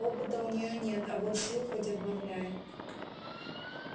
опыта у нее нет а вот сил хоть отбавляй